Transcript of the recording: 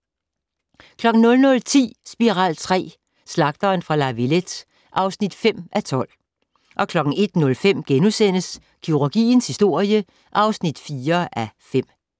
00:10: Spiral III: Slagteren fra La Villette (5:12) 01:05: Kirurgiens historie (4:5)*